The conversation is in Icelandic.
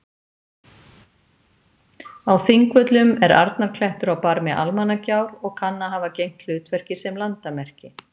Á Þingvöllum er Arnarklettur á barmi Almannagjár og kann að hafa gegnt hlutverki sem landamerki.